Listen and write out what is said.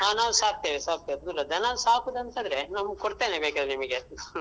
ಹಾ ನಾವ್ ಸಾಕ್ತೇವೆ ಸಾಕ್ತೇವೆ ದನ ಸಾಕುದಂತಾದ್ರೆ ನಾನು ಕೊಡ್ತೇನೆ ಬೇಕಾದ್ರೆ ನಿಮ್ಗೆ ಹ್ಮ್